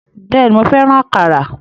Bẹ́ẹ̀ni, mo fẹ́ràn àkàrà.